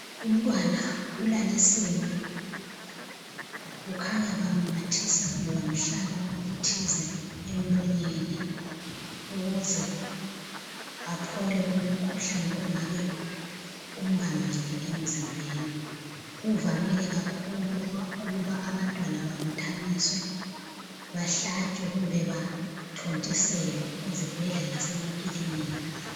Umntwana ulalisiwe kukhanya bamnathisa kumbe bamhlaba okuthize emlonyeni ukuze aphole kulomkhuhlane ongabe umbambile emzimbeni. Kuvamile kakhulu ukuba abantwana babuthaniswe, bahlatshwe kumbe bathontiselwe ezibhedlela lasemakilinika.